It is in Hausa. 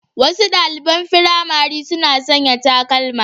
Wasu ɗaliɓan firamare suna sanƴa takalma